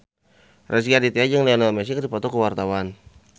Rezky Aditya jeung Lionel Messi keur dipoto ku wartawan